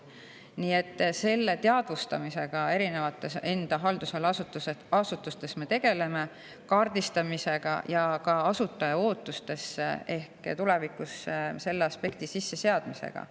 Nii et selle teadvustamisega, kaardistamisega enda haldusala asutustes me tegeleme, ja ehk ka asutaja ootustesse tulevikus selle aspekti sisseseadmisega.